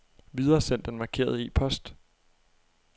Videresend den markerede e-post.